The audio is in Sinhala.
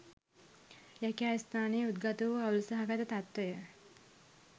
රැකියා ස්ථානයේ උද්ගතවූ අවුල් සහගත තත්ත්වය